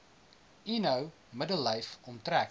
eno middellyf omtrek